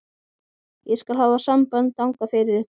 Ég skal hafa samband þangað fyrir ykkur.